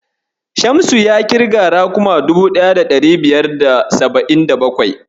Shamsu ya ƙirga raguma 1577.